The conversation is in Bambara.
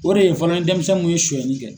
O de ye fɔlɔ ni denmisɛn kun ye sunyali kɛ.